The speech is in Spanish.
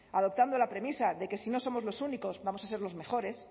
adoptando la premisa de que si no somos los únicos vamos a ser los mejores